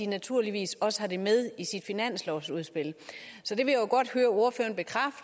naturligvis også har det med i sit finanslovsudspil det vil